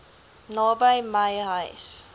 naby my huis